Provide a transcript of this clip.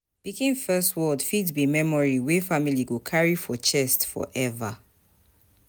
Pikin first word fit be memory wey family go carry for chest forever.